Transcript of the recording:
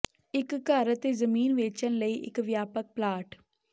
ਇੱਕ ਘਰ ਅਤੇ ਜ਼ਮੀਨ ਵੇਚਣ ਲਈ ਇੱਕ ਵਿਆਪਕ ਪਲਾਟ